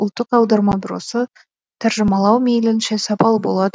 ұлттық аударма бюросы тәржімалау мейлінше сапалы болады